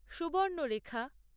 Subarnarekha